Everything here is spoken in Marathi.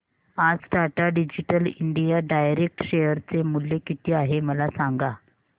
आज Tata digital India direct share चे मूल्य किती आहे मला सांगा